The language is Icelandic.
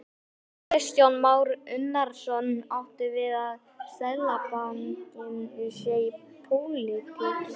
Kristján Már Unnarsson: Áttu við að Seðlabankinn sé í pólitík?